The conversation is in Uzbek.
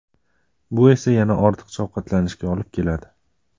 Bu esa yana ortiqcha ovqatlanishga olib keladi.